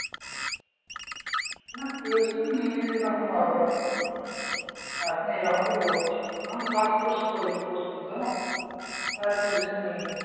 না tuition নিইনি সেরকম ভাবে এখন এইরকমই পড়ছি কারণ pass course করে করছি তো? আর tuition নিইনি।